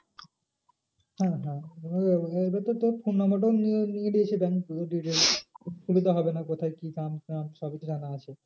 হ্যাঁ হ্যাঁ এবার তো তোর phone number টাও নিয়ে নিয়েছে bank পুরো details অসুবিধা হবে না কোথায় কি গ্রাম নাম সবই তো জানা আছে।